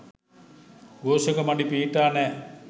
ඝෝෂක මඩි පිහිටා නෑ